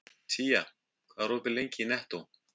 Tía, hvað er opið lengi í Nettó?